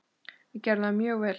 Við gerðum það mjög vel.